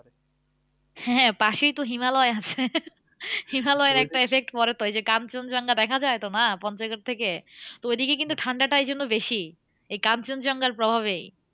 হ্যাঁ পাশেই তো হিমালয় আছে। হিমালয়ের একটা effect পরে তো ওই যে, কাঞ্চনজঙ্ঘা দেখা যায় তো না পঞ্চগড় থেকে। তো ঐদিকে কিন্তু ঠান্ডাটা এই জন্য বেশি। এই কাঞ্চনজঙ্ঘার প্রভাবেই।